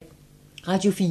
Radio 4